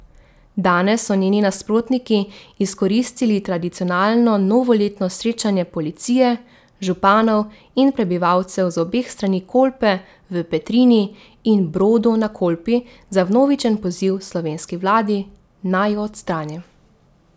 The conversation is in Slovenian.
Danes so njeni nasprotniki izkoristili tradicionalno novoletno srečanje policije, županov in prebivalcev z obeh strani Kolpe v Petrini in Brodu na Kolpi za vnovičen poziv slovenski vladi, naj jo odstrani.